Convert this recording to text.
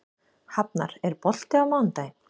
Hafnar, er bolti á mánudaginn?